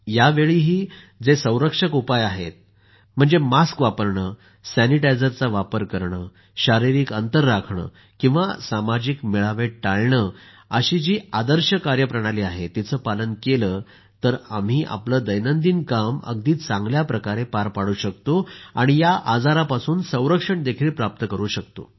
यावेळीही जे संरक्षक उपाय आहेत मास्क वापरणं सॅनिटायझरनं हात सतत धुणं आणि शारिरिक अंतर राखणं किंवा सामाजिक मेळावे टाळणं अशी जी आदर्श कार्यप्रणाली आहे तिचं पालन केलं तर आम्ही आपलं दैनंदिन काम अगदी चांगल्या प्रकारे पार पाडू शकतो आणि या आजारापासून संरक्षणही प्राप्त करू शकतो